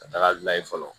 Ka taga layɛ fɔlɔ